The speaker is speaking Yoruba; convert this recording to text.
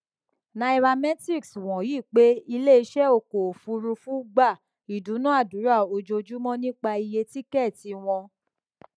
nairametrics wòye pé iléiṣẹ ọkọ òfuurufú gba ìdúnàádúrà ojoojúmọ nípa iye tíkẹtì wọn